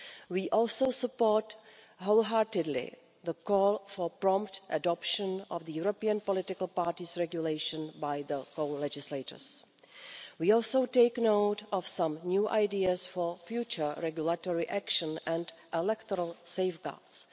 We also support wholeheartedly the call for the prompt adoption of the European political parties regulation by the co-legislators. We also take note of some new ideas for future regulatory action and electoral safeguards.